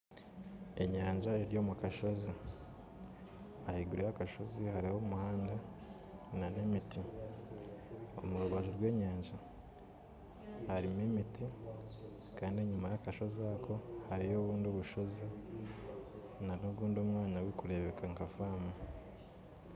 Enyanja eri omu kashoozi ahaiguru y'akashoozi hariho omuhanda, omu rubaju rw'enyanja hariho emiti kandi enyima y'akashoozi hariyo obu bushoozi n'omwanya ogundi ogurikureebeka nka faamu